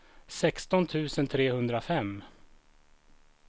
sexton tusen trehundrafem